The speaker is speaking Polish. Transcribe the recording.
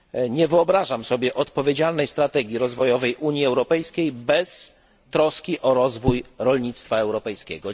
Nie wyobrażam sobie odpowiedzialnej strategii rozwojowej Unii Europejskiej bez troski o rozwój rolnictwa europejskiego.